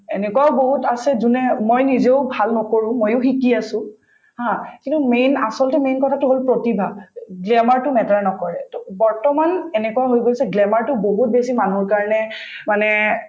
"এনেকুৱাও বহুত আছে যোনে মই নিজেও ভাল নকৰো ময়ো শিকি আছো ha কিন্তু main আচলতে main কথাটো হল প্ৰতিভা glamour তো